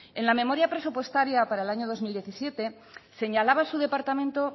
en la memoria presupuestaria para el año dos mil diecisiete señalaba su departamento